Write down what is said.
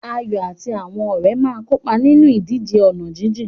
Ayo àti àwọn ọ̀rẹ́ máa ń kópa nínú ìdíje ọ̀nà jíjìn.